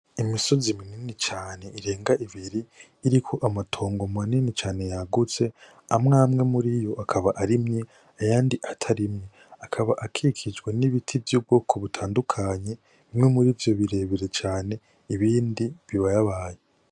Imisozi minini cane irenga ibiri iriko amatongo manini cane yagutse, amwe amwe muriyo akaba arimye, ayandi atarimye. Akaba ikikijwe n'ibiti vy'ubwoko butandukanye, bimwe muri ivyo birebire cane ibindi bibayabaye.